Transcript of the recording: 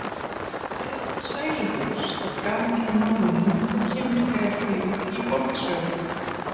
Orðið sæluhús er gamalt í málinu og kemur þegar fyrir í fornsögum.